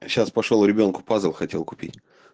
а сейчас пошёл ребёнку пазл хотел купить